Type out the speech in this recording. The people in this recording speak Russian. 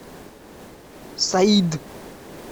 саид